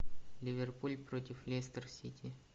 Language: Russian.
ливерпуль против лестер сити